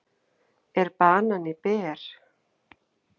Er banani ber?